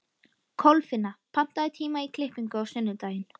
Kolfinna, pantaðu tíma í klippingu á sunnudaginn.